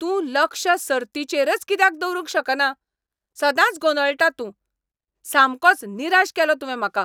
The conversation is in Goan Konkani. तूं लक्ष सर्तीचेरच कित्याक दवरूंक शकना? सदांच गोंदळटा तूं. सामकोच निराश केलो तुवें म्हाका.